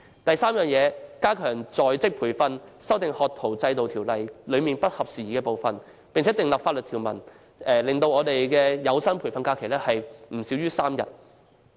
第三，加強在職培訓，修訂《學徒制度條例》中不合時宜的部分，並訂立法例，規定每年有薪培訓假期不少於3天。